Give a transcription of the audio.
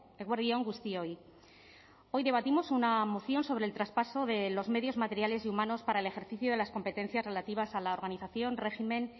eguerdi on guztioi hoy debatimos una moción sobre el traspaso de los medios materiales y humanos para el ejercicio de las competencias relativas a la organización régimen